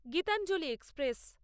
Gitanjali express